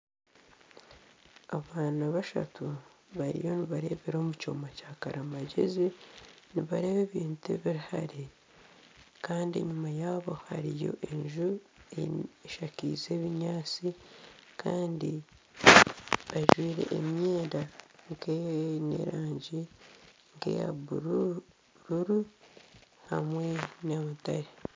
Abaana bashatu bariyo nibareebera omukyoma kya karimagyezi nibareeba ebintu ebirihare Kandi enyuma yaabo hariyo enju eshakaize ebinyaatsi kandi bajwaire emyenda nkeine erangi eya bururu hamwe na mutare